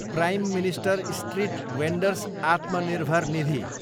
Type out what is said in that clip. prime minister street vendors Atmanirbhar Nidhi